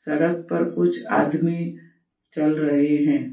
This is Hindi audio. सड़क पर कुछ आदमी चल रहे हैं।